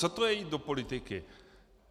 Co to je, jít do politiky?